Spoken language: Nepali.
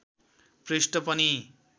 पृष्ठ पनि